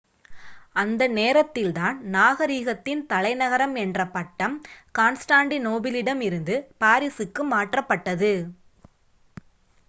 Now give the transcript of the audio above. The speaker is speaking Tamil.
அந்த நேரத்தில் தான் நாகரீகத்தின் தலைநகரம் என்ற பட்டம் கான்ஸ்டாண்டிநோபிளிடம் இருந்து பாரிசுக்கு மாற்றப்பட்டது